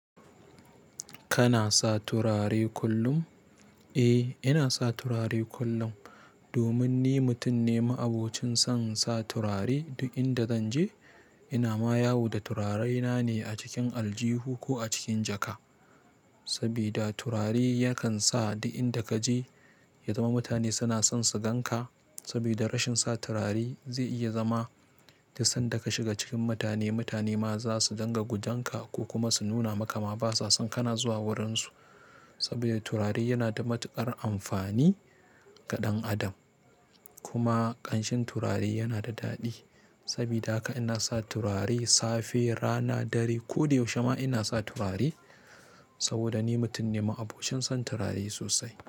Kana sa turare kullum? Eh, ina sa turare kullum domin ni mutum ne ma'abocin son sa turare duk inda zan je. Ina ma yawo da turarena ne a cikin aljihu ko a cikin jaka. Sabida turare yakan sa duk inda ka je ya zama mutane suna son su gan ka. Sabida rashin sa turare zai iya zama duk sanda ka shiga cikin mutane, mutane ma za su dinga gujan ka ko kuma su nuna maka ma basa son kana zuwa wurinsu. Sabida turare yana da matuƙar amfani ga ɗan adam. Kuma ƙanshin turare yana da daɗi. Sabida haka ina sa turare safe, rana, dare. Ko da yaushe ma ina sa turare saboda ni mutum ne ma'abocin son turare sosai.